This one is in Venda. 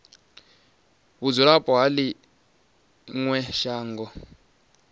vhudzulapo ha ḽi ṅwe shango